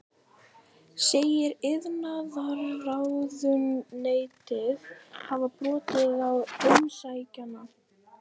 Segir iðnaðarráðuneytið hafa brotið á umsækjanda